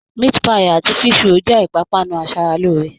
Meat-pie àti fish-roll jẹ́ ìpápánu aṣaralóore